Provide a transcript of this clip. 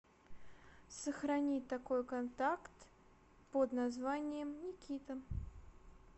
сохрани такой контакт под названием никита